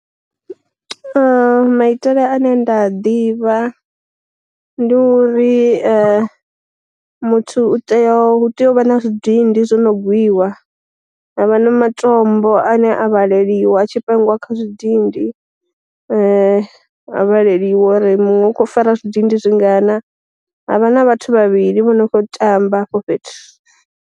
Maitele ane nda ḓivha ndi uri muthu u tea hu tea u vha na zwidindi zwino gwiwa, havha na ma tombo ane a vhaleliwa tshi pangiwa kha zwidindi, a vhaleliwa uri muṅwe u kho fara zwidindi zwi ngana, havha na vhathu vhavhili vho no kho tamba hafho fhethu.